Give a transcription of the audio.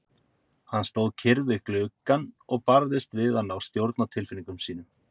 Hann stóð kyrr við gluggann og barðist við að ná stjórn á tilfinningum sínum.